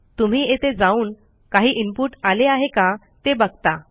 तुम्ही येथे जाऊन काही इनपुट आले आहे का ते बघता